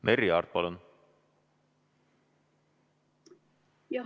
Merry Aart, palun!